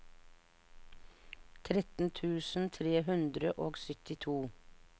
tretten tusen tre hundre og syttito